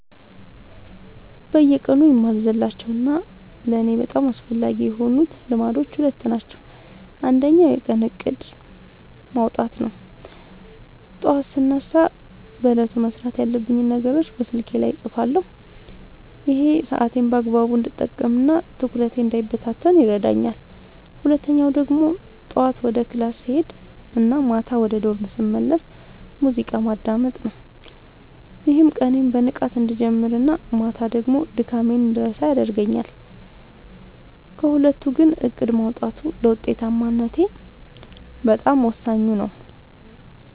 በየቀኑ የማልዘልላቸው እና ለእኔ በጣም አስፈላጊ የሆኑት ልማዶች ሁለት ናቸው። አንደኛው የቀን እቅድ (To-Do List) ማውጣት ነው፤ ጠዋት ስነሳ በዕለቱ መስራት ያለብኝን ነገሮች በስልኬ ላይ እጽፋለሁ። ይሄ ሰዓቴን በአግባቡ እንድጠቀምና ትኩረቴ እንዳይበታተን ይረዳኛል። ሁለተኛው ደግሞ ጠዋት ወደ ክላስ ስሄድ እና ማታ ወደ ዶርም ስመለስ ሙዚቃ ማዳመጥ ነው፤ ይህም ቀኔን በንቃት እንድጀምርና ማታ ደግሞ ድካሜን እንድረሳ ያደርገኛል። ከሁለቱ ግን እቅድ ማውጣቱ ለውጤታማነቴ በጣም ወሳኙ ነው።